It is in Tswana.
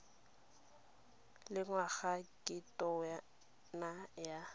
le ngwaga ke tona ya